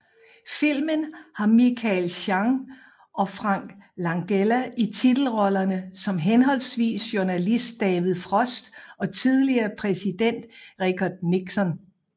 Filmen har Michael Sheen og Frank Langella i titelrollerne som henholdsvis journalist David Frost og tidligere præsident Richard Nixon